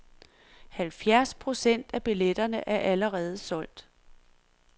Halvfjerds procent af billetterne er allerede solgt.